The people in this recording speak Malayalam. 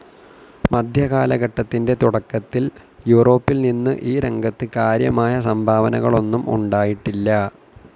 മധ്യകാലഘട്ടതിൻ്റെ തുടക്കത്തിൽ യൂറോപിൽനിന്നു ഈ രംഗത് കാര്യമായ സംഭാവനകളൊന്നും ഉണ്ടായിട്ടില്ല.